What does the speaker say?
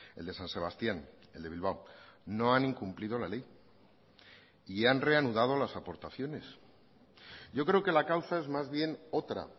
el de san sebastián el de bilbao no han incumplido la ley y han reanudado las aportaciones yo creo que la causa es más bien otra